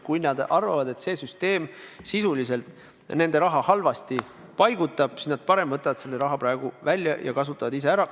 Kui nad arvavad, et see süsteem paigutab nende raha halvasti, siis nad parem võtavad selle raha praegu välja ja kasutavad ise ära.